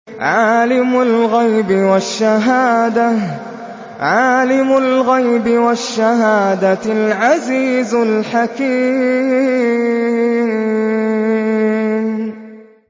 عَالِمُ الْغَيْبِ وَالشَّهَادَةِ الْعَزِيزُ الْحَكِيمُ